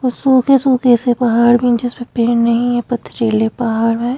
सूखे सूखे से पहाड़ में जिसमे पेड़ नहीं है पथरीले पहाड़ है।